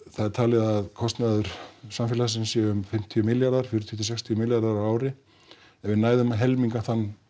það er talið að kostnaður samfélagsins sé um fimmtíu milljarðar fimmtíu til sextíu milljarðar á ári ef við næðum að helminga